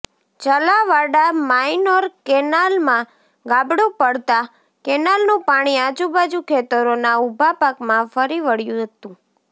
Chalavada minor કેનાલમાં ગાબડું પડતાં કેનાલનું પાણી આજુબાજુ ખેતરોના ઉભા પાકમાં ફરી વળ્યું હતું